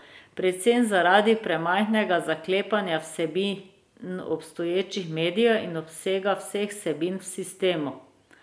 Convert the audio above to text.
Predvsem zaradi premajhnega zaklepanja vsebin obstoječih medijev in obsega vseh vsebin v sistemu.